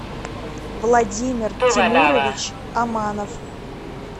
владимир тимурович аманов